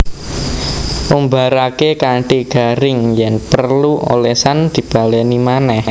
Umbaraké kanthi garing yèn perlu olesan dibalèni manèh